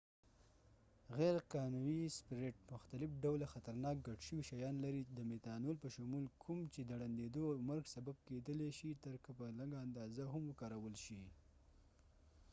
غیر قانوي سپریټ مختلف ډوله خطرناک ګډ شوي شيان لري د میتانول په شمول کوم چې د ړنديدو او مرګ سبب کېدلای شي تر که په لږه اندازه هم وکارول شي